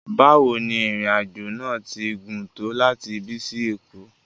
Bawo ni irin ajo naa ti gun to lati ibi si Eko?